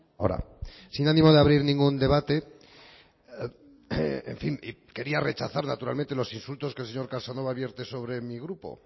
ahora sin ánimo de abrir ningún debate en fin quería rechazar naturalmente los insultos que el señor casanova vierte sobre mi grupo